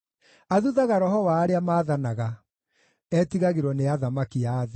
Athuthaga roho wa arĩa maathanaga; etigagĩrwo nĩ athamaki a thĩ.